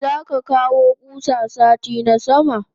Zaka kawo kusa sati na sama?